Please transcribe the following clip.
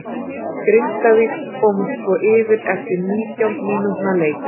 Grindavík komust svo yfir eftir nítján mínútna leik.